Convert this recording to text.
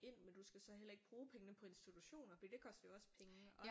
Ind men du skal så heller ikke bruge pengene på institutioner for det koster jo også penge